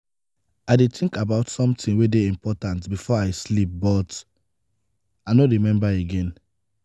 i dey happy for wetin dat woman do for me yesterday.